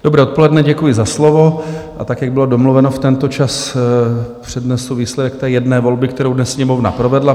Dobré odpoledne, děkuji za slovo, a tak, jak bylo domluveno v tento čas, přednesu výsledek té jedné volby, kterou dnes Sněmovna provedla.